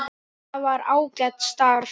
Það var ágætt starf.